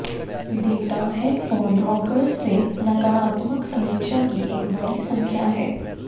data headphone rockers से नकारात्मक समीक्षा की एक बड़ी संख्या है